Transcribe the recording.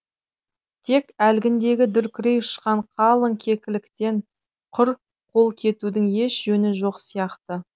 тек әлгіндегі дүркірей ұшқан қалың кекіліктен құр қол кетудің еш жөні жоқ сияқты